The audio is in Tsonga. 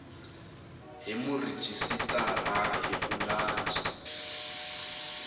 hi murhijisitara hi ku landza